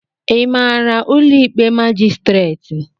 Ị maara ụlọ ikpe majistret?